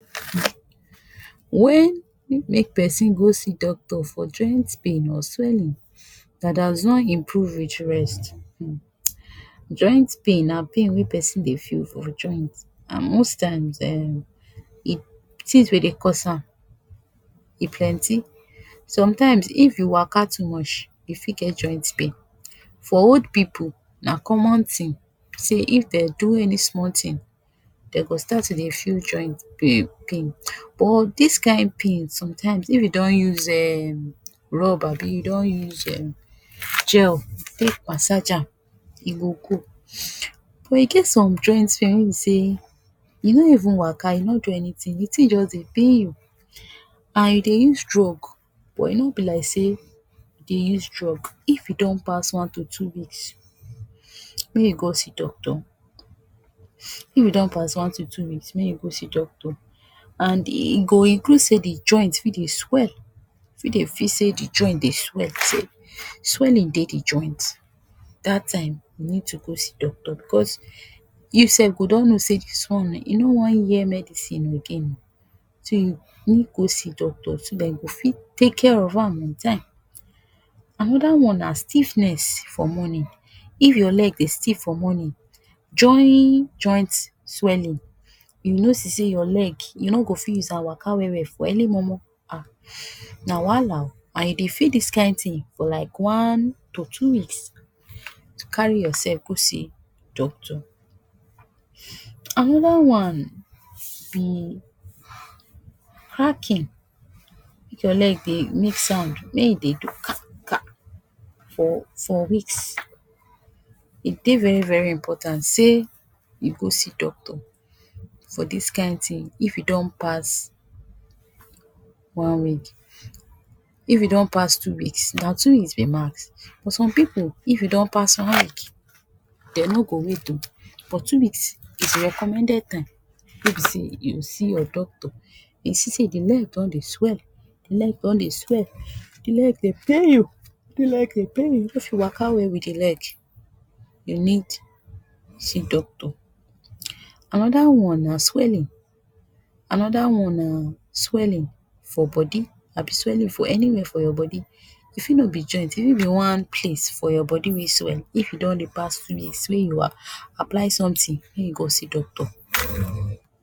wen um make pesin go see doctor for joint pain or something welling that has no improve reach rest [u] joint pain na pain wey pesin dey feel for joint and most times um tins wey dey cause am e plenty sometimes if you Waka too mush you fit get joint pain, for old pipo na common tin so if Dem do any small tin dem go start to dey feel joint um pain but dis kain pain sometimes if u don use um rubber abi u don use Um gel take massage am e go go but e get and joint pain wey be say you no even Waka u no even do anything d tin just dey pain you and you use drugs but e no be like say you dey use drug, if e don pass one to two weeks may u go see doctor if e don pass one to two weeks may you go see doctor and e go incu say the joint fi dey swell, Fi sat the joint dey swell, swelling dey joint that time you need to go see doctor bcuz you sef go don know say dis one e no wan hear medicine again say go see doctor so that e go fit take care of am on time, another one na stiffness for morning if your leg dey stiff for morning joining joint swelling u notice say your leg u no go fit use am Waka well well for early momo um na wahala o and you dey feel dis kain tin for like one to two weeks to carry urself go see doctor another one be hacking if your leg dey make sound may you dey ka ka for for weeks v e dey very very important say you go see doctor for dis kain tin if e don pass one week if e don pass two weeks na two weeks be max but some pipu if e don pass one week Dem no go wait o for two weeks dey recommended time wey be say you see your doctor e see say the leg don dey swell, d leg dey pain you, if leg dey pain you if you Waka well with the leg you need see doctor, another one na swelling another one na swelling for body abi swelling for anywhere for your body, e Fi no be joint, e Fi be one place for your body wey swell if e don dey pass two weeks wey you um apply something wey you go see doctor